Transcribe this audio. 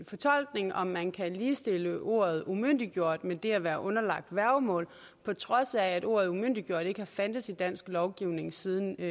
fortolkning om man kan ligestille ordet umyndiggjort med det at være underlagt værgemål på trods af at ordet umyndiggjort ikke har fandtes i dansk lovgivning siden